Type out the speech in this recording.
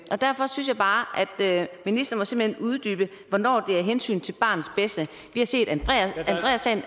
og derfor synes jeg bare at ministeren simpelt uddybe hvornår det er af hensyn til barnets bedste vi har set andreassagen